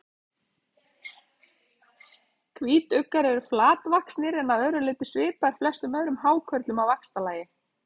Hvítuggar eru flatvaxnir en að öðru leyti svipaðir flestum öðrum hákörlum að vaxtarlagi.